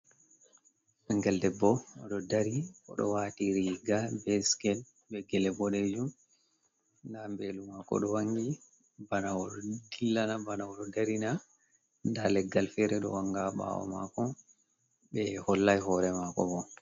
Ɓingel debbo "oɗo dari oɗo wati riga be sikel be gele boɗejum. Nda mbelu mako ɗo wangi bana oɗo dillana, bana oɗo darina. Nda leggal fere ɗo wanga ɓawo mako be hollay hore mako bo.